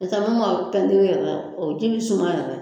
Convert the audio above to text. N'o tɛ min ma pɛntiri yɛrɛ o ji bi suma yɛrɛ